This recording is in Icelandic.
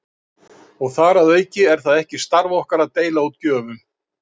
Og þar að auki er það ekki starf okkar að deila út gjöfum.